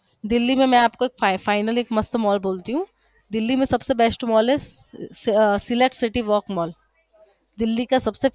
दिल्ली मै में आपको एक finally मस्त मॉल बोलती हु दिल्ली में सबसे best mall select city work mall